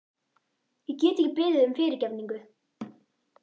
Ég get ekki beðið um fyrirgefningu.